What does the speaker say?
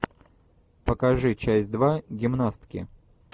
покажи часть два гимнастки